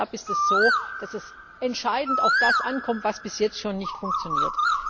Durch das Setup ist es so, dass es entscheidend auf das ankommt, was bis jetzt schon nicht funktioniert.